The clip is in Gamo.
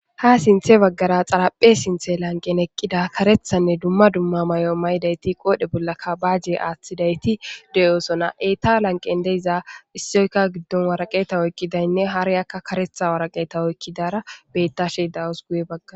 Ha sinththe baggara xaraphe sinththen eqqida kareththanne dumma dumma mayo mayidayti qoidhe bollaka baaje aaththidayti de'osona. Eta lanqqen de'iza issoykka waraqeeta oyiqqidaynne hariyakka kareththa waraqeeta oyiqqidara beettashe de'awus guye baggara.